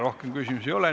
Rohkem küsimusi ei ole.